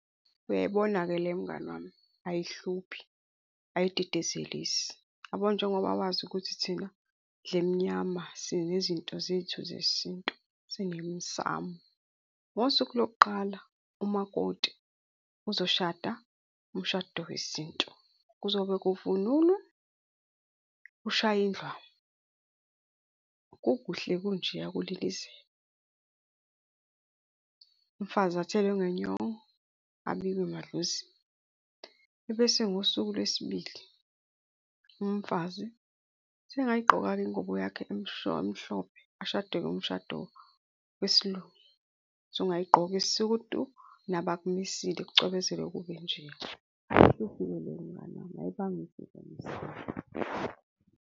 Uyayibona-ke le mngani wami, ayihluphi, ayididizelisi. Uyabo, njengoba wazi ukuthi thina ndlemnyama sinezinto zethu zesintu sinemisamo. Ngosuku lokuqala umakoti uzoshada umshado wesintu, kuzobe kuvunulwe kushaywe indlamu, kukuhle kunjeya kulilizelwa, umfazi athelwe ngenyongo, abikwe emadlozini. Ebese ngosuku lwesibili, umfazi usengayigqoka-ke ingubo yakho emhlophe, ashade umshado wesiLungu, usungayigqoka isudu, nabakumisile kucwebezele kube njeya .